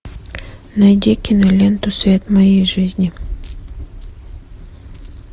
найди киноленту свет моей жизни